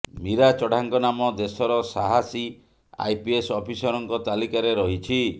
ମୀରା ଚଢାଙ୍କ ନାମ ଦେଶର ସାହାସୀ ଆଇପିଏସ୍ ଅଫିସରଙ୍କ ତାଲିକାରେ ରହିଛି